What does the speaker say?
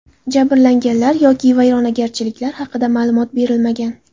Jabrlanganlar yoki vayronagarchiliklar haqida ma’lumot berilmagan.